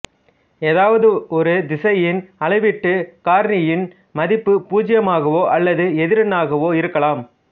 ஏதாவது ஒரு திசையின் அளவீட்டுக் காரணியின் மதிப்பு பூச்சியமாகவோ அல்லது எதிரெண்ணாகவோ இருக்கலாம்